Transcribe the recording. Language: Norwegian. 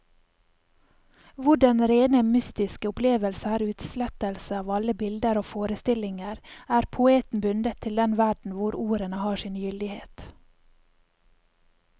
Hvor den rene mystiske opplevelse er utslettelse av alle bilder og forestillinger, er poeten bundet til den verden hvor ordene har sin gyldighet.